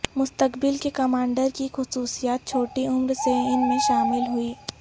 مستقبل کے کمانڈر کی خصوصیات چھوٹی عمر سے ان میں شامل ہوئی